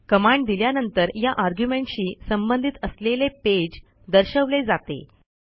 command दिल्यानंतर या argumentशी संबंधित असलेले पेज दर्शवले जाते